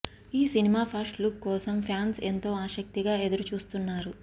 ఈ cinema first look కోసం fans ఎంతో ఆసక్తిగా ఎదురు చూస్తున్నారు